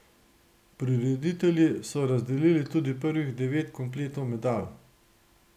Prireditelji so razdelili tudi prvih devet kompletov medalj.